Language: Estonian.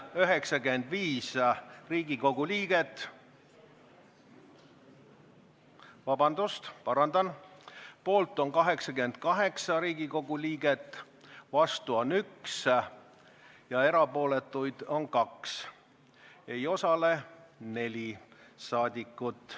Hääletustulemused Päevakorra kinnitamise poolt on 88 Riigikogu liiget, vastu on 1 ja erapooletuks jäi 2, ei osalenud 4 saadikut.